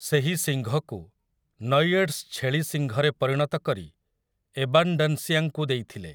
ସେହି ଶିଙ୍ଘକୁ ନୈଏଡ୍‌ସ୍‌ ଛେଳି ଶିଙ୍ଘରେ ପରିଣତ କରି ଏବାନ୍‌ଡାନ୍ସିଆଙ୍କୁ ଦେଇଥିଲେ ।